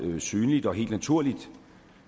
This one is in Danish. synligt og helt naturligt